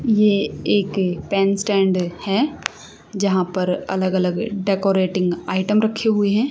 ये एक pen stand है यहां पर अलग अलग डेकोरेटिंग आइटम रखे हुए हैं।